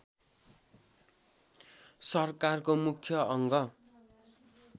सरकारको मुख्य अङ्ग